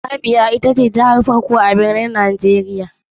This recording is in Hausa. Abia ita ce jiha ta farko a jihohi kuma babban birnin nigeria.